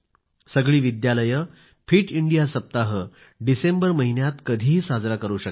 सगळी विद्यालये fit India सप्ताह डिसेंबर महिन्यात कधीही साजरा करू शकतात